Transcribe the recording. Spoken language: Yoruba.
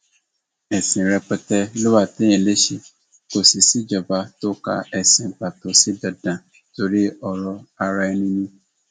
ẹsìn rẹpẹtẹ ló wà téèyàn lè ṣe kó sì síjọba tó ka ẹsìn pàtó sí dandan torí ọrọ araẹni ni